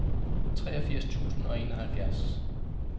treogfirs tusind og enoghalvfjerds